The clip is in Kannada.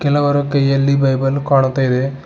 ಹಲವರ ಕೈಯಲ್ಲಿ ಬೈಬಲ್ ಕಾಣುತ್ತಾ ಇದೆ.